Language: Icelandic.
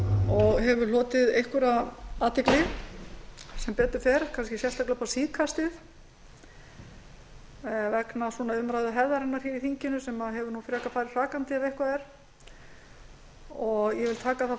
og hefur hlotið einhverja athygli sem betur fer kannski sérstaklega upp á síðkastið vegna umræðuhefðarinnar í þinginu sem hefur frekar farið hrakandi ef eitthvað er ég vil taka það